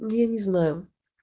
я не знаю